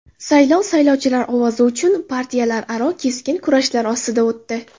Saylov saylovchilar ovozi uchun partiyalararo keskin kurashlar ostida o‘tdi.